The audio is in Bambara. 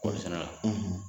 O